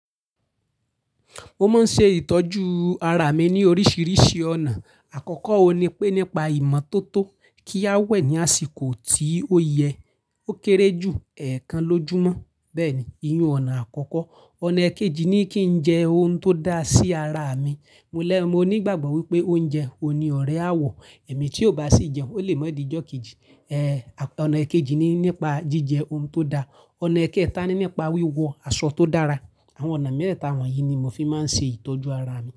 Mo máa ń ṣe ìtọ́jú ara mi ní oríṣiríṣi ọ̀nà. Àkọ́kọ́ ohun ni pé nípa ìmọ́tótó kí a wẹ̀ ní àsìkò tí ó yẹ, ó kéré jù ẹẹkan lójùmọ́. Bẹ́ẹ̀ni, ìyin-ùn ọ̀nà àkọ́kọ́. Ọ̀nà eekejì ni kí n jẹ ohun tó da sí ara mi. Mólẹ̀, mo ní ìgbàgbọ́ wípé oúnjẹ òhun ní ọrẹ áwọ̀, èmi tí ò bá sì jẹun, ó lè ma di ijó keji. Ẹ́, ọ̀nà eekejì ni nípa jíjẹ ohun tó da. Ọ̀nà eekẹ́ẹ̀ta ni nípa wíwọ aṣọ tó dára. Àwọn ọ̀nà mẹ́teeta wọ̀nyí ni mo fi máa ń ṣe ìtọ́jú ara mi.